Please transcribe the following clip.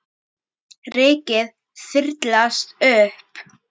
Rykið þyrlast upp.